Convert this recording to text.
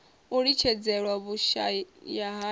na u litshedzelwa vhushayahaya ha